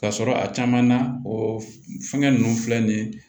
Ka sɔrɔ a caman na o fɛngɛ ninnu filɛ nin ye